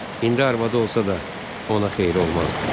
İndi arvadı olsa da, ona xeyri olmazdı.